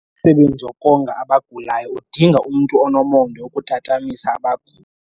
Umsebenzi wokonga abagulayo udinga umntu onomonde wokutatamisa aba.